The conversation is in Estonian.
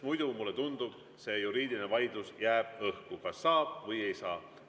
Muidu, mulle tundub, see juriidiline vaidlus jääb õhku, kas saab või ei saa.